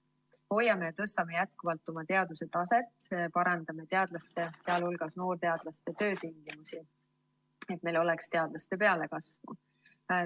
Hoiame ja tõstame jätkuvalt oma teaduse taset ja parandame teadlaste, sh noorteadlaste töötingimusi, et meil oleks teadlaste pealekasvu.